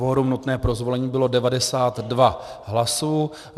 Kvorum nutné pro zvolení bylo 92 hlasů.